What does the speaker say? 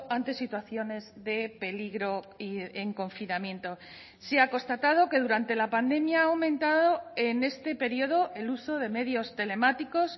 ante situaciones de peligro y en confinamiento se ha constatado que durante la pandemia ha aumentado en este periodo el uso de medios telemáticos